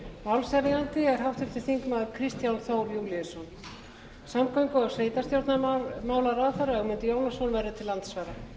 málshefjandi er háttvirtur þingmaður kristján þór júlíusson samgöngu og sveitarstjórnarráðherra ögmundur jónasson verður til andsvara umræðan fer